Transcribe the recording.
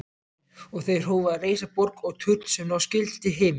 Og þeir hófu að reisa borg og turn sem ná skyldi til himins.